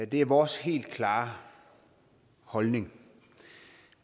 det er vores helt klare holdning